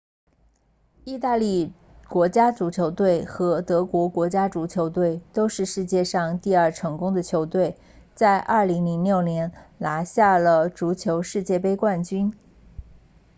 意大利国家足球队和德国国家足球队都是世界上第二成功的球队在2006年拿下了足球世界杯冠军